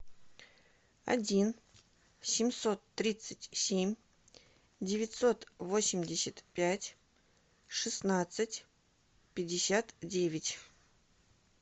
один семьсот тридцать семь девятьсот восемьдесят пять шестнадцать пятьдесят девять